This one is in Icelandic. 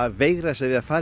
veigra sér við að fara í